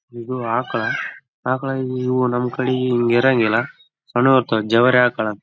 ಇದು ಜ ಜೆರ್ಸಿ ಆಕುಳ ಐತಿ ಇದ.